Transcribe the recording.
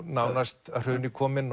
nánast að hruni kominn